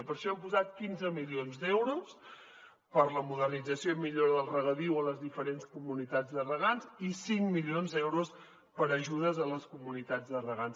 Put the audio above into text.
per això hem posat quinze milions d’euros per a la modernització i millora del regadiu a les diferents comunitats de regants i cinc milions d’euros per a ajudes a les comunitats de regants